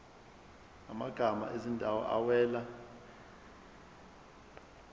amagama ezindawo awela